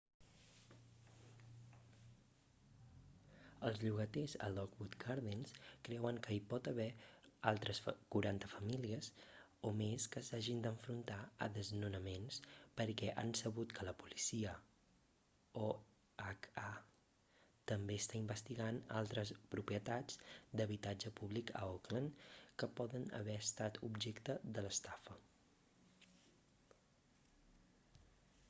els llogaters a lockwood gardens creuen que hi pot haver altres 40 famílies o més que s'hagin d'enfrontar a desnonaments perquè han sabut que la policia oha també està investigant altres propietats d'habitatge públic a oakland que poden haver estat objecte de l'estafa